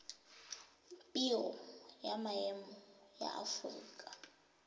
biro ya maemo ya aforika